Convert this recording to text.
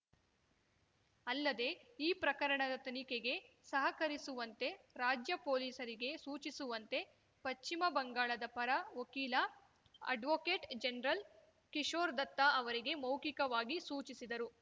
ಅಲ್ಲದೆ ಈ ಪ್ರಕರಣದ ತನಿಖೆಗೆ ಸಹಕರಿಸುವಂತೆ ರಾಜ್ಯ ಪೊಲೀಸರಿಗೆ ಸೂಚಿಸುವಂತೆ ಪಶ್ಚಿಮ ಬಂಗಾಳದ ಪರ ವಕೀಲ ಅಡ್ವೋಕೇಟ್‌ ಜನರಲ್‌ ಕಿಶೋರ್‌ ದತ್ತಾ ಅವರಿಗೆ ಮೌಖಿಕವಾಗಿ ಸೂಚಿಸಿದರು